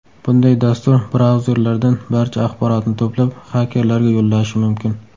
Bunday dastur brauzerlardan barcha axborotni to‘plab, xakerlarga yo‘llashi mumkin.